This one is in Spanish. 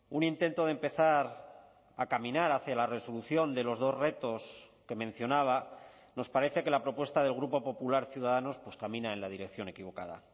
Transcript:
un intento de empezar a caminar hacia la resolución de los dos retos que mencionaba nos parece que la propuesta del grupo popular ciudadanos pues camina en la dirección equivocada